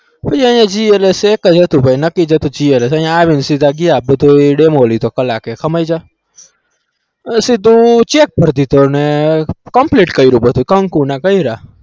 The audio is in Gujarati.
અહીંયા એ GLS set જ હતું ભાઈ નક્કી જ હતું GLS અહીં આવીને સીધા ગયા બધુંયે demo લીધો કલાક એક સમજ્યા પછી સીધું check ભર દીધો અને complete કર્યું બધું કંકુ ના કર્યા.